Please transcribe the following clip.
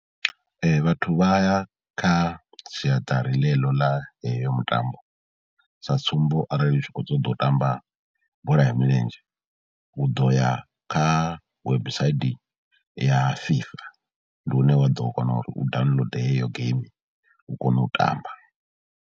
Vhathu vha ya kha siaṱari ḽeḽo ḽa heyo mutambo, sa tsumbo arali u tshi khou ṱoḓa u tamba bola ya milenzhe, u ḓo ya kha website ya FIFA ndi hune wa ḓo kona uri u download heyo geimi u kone u tamba.